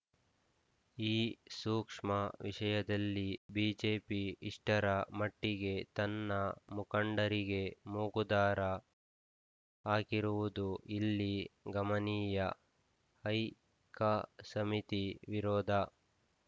ಈ ಸೂಕ್ಷ್ಮ ವಿಷಯದಲ್ಲಿ ಬಿಜೆಪಿ ಇಷ್ಟರ ಮಟ್ಟಿಗೆ ತನ್ನ ಮುಖಂಡರಿಗೆ ಮೂಗುದಾರ ಹಾಕಿರುವುದು ಇಲ್ಲಿ ಗಮನೀಯ ಹೈಕಸಮಿತಿ ವಿರೋಧ